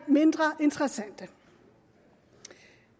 mindre interessante